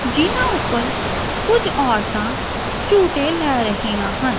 ਜਿਹਨਾਂ ਊਪਰ ਕੁਝ ਔਰਤਾਂ ਝੂਟੇ ਲੈ ਰਹੀਆਂ ਹਨ।